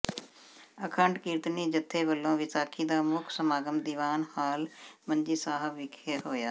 ਅਖੰਡ ਕੀਰਤਨੀ ਜਥੇ ਵਲੋਂ ਵਿਸਾਖੀ ਦਾ ਮੁਖ ਸਮਾਗਮ ਦੀਵਾਨ ਹਾਲ ਮੰਜੀ ਸਾਹਿਬ ਵਿਖੇ ਹੋਇਆ